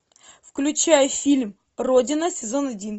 включай фильм родина сезон один